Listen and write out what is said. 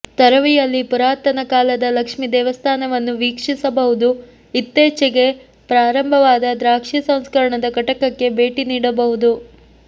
ತೊರವಿಯಲ್ಲಿ ಪುರಾತನ ಕಾಲದ ಲಕ್ಷ್ಮೀ ದೇವಸ್ಥಾನವನ್ನು ವೀಕ್ಷಿಸಬಹುದು ಇತ್ತೀಚೆಗೆ ಪ್ರಾರಂಭವಾದ ದ್ರಾಕ್ಷಿ ಸಂಸ್ಕರಣದ ಘಟಕಕ್ಕೆ ಭೇಟಿ ನೀಡಬಹುದು